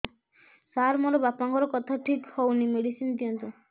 ସାର ମୋର ବାପାଙ୍କର କଥା ଠିକ ହଉନି ମେଡିସିନ ଦିଅନ୍ତୁ